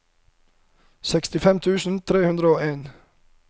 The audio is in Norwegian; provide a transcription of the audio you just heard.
sekstifem tusen tre hundre og en